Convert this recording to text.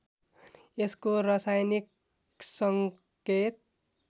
यसको रसायनिक सङ्केत